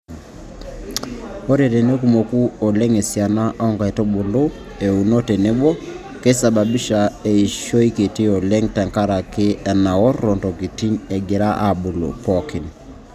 Ore tenekumoku oleng esiana oonkaitubulu euno tenebo naa keisababisha eishoi kiti oleng tenkaraki enaorro ntokitin egira aabulu pookin.